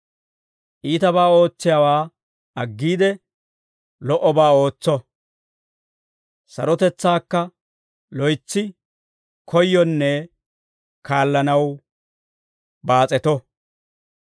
«Iitabaa ootsiyaawaa aggiide, lo"obaa ootso; sarotetsaakka loytsi koyyonne kaallanaw baas'eto.